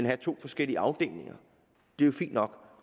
har to forskellige afdelinger det er jo fint nok